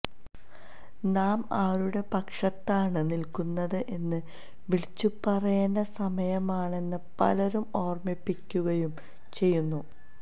നാം ആരുടെ പക്ഷത്താണ് നില്ക്കുന്നത് എന്ന് വിളിച്ചുപറയേണ്ട സമയമാണെന്ന് പലരും ഓര്മ്മിപ്പിക്കുകയും ചെയ്യുന്നു